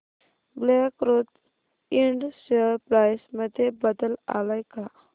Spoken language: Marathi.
black Rose Ind share price मध्ये बदल आलाय का